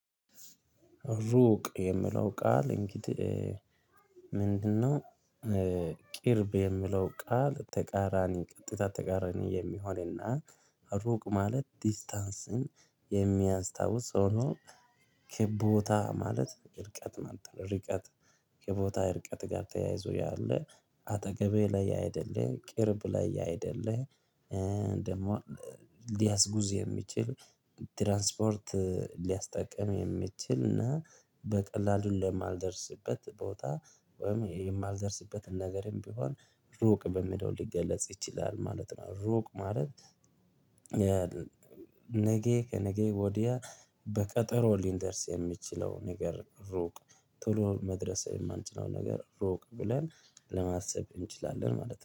ሩቅ የሚለው ቃል እንግዲህ ምንድነው? ቂርብ የምለው ቃል ተቃራኒ ቅጥታ ተቃራኒ የሚሆንና ሩቅ ማለት ዲስታንስን የሚያስታውስ ሆኖ ከቦታ ማለት እርቀት መጥተው እርቀት ከቦታ እርቀት ጋር ተያይዞ ያለ አጠገቤ ላይ አይደለም ቅርብ ላይ አይደለም ደግሞ ሊያስጉዝ የሚችል ትራንስፖርት ሊያስጠቅመው የሚችል እና በቀላሉ ለማልደርስበት ቦታ ወይም የማልደርስበትን ነገርም ቢሆን ሩቅ በሚለው ሊገለጽ ይችላል ማለት ነው። ሩቅ ማለት ነገ ከነገ ወዲያ በቀጠሮ ሊንደርስ የሚችለው ነገር ሩቅ ቶሎ መድረስ የማንችለው ነገር ሩቅ ብለን ለማሰብ እንችላለን ማለት ነው